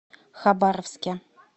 хабаровске